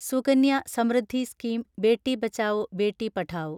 Sukanya Samriddhi scheme Beti Bachao Beti Padhao